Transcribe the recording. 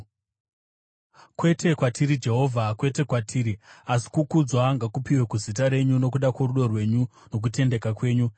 Kwete kwatiri, Jehovha, kwete kwatiri, asi kukudzwa ngakupiwe kuzita renyu, nokuda kworudo rwenyu nokutendeka kwenyu.